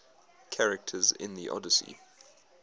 characters in the odyssey